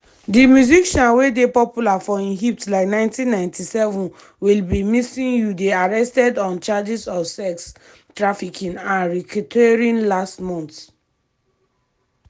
di musician wey dey popular for im hits like 1997 i'll be missing you dey arrested on charges of sex trafficking and racketeering last month.